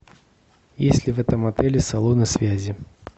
есть ли в этом отеле салоны связи